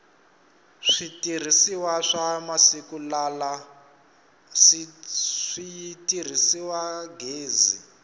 switirhisiwa swa masiku lala si tirhisa gezi